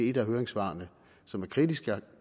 et af høringssvarene som er kritisk